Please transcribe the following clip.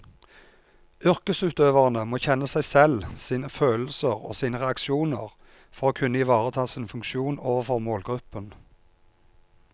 Yrkesutøverne må kjenne seg selv, sine følelser og sine reaksjoner for å kunne ivareta sin funksjon overfor målgruppen.